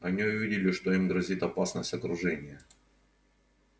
они увидели что им грозит опасность окружения